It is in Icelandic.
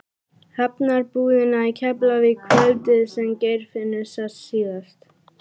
Hafnarbúðina í Keflavík kvöldið sem Geirfinnur sást síðast.